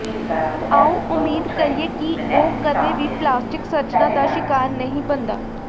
ਆਓ ਉਮੀਦ ਕਰੀਏ ਕਿ ਉਹ ਕਦੇ ਵੀ ਪਲਾਸਟਿਕ ਸਰਜਨਾਂ ਦਾ ਸ਼ਿਕਾਰ ਨਹੀਂ ਬਣਦਾ